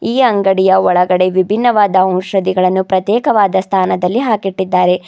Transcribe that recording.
ಈ ಅಂಗಡಿಯ ಒಳಗಡೆ ವಿಭಿನ್ನವಾದ ಔಷಧಿಗಳನ್ನು ಪ್ರತ್ಯೇಕವಾದ ಸ್ಥಾನದಲ್ಲಿ ಹಾಕಿಟ್ಟಿದ್ದಾರೆ.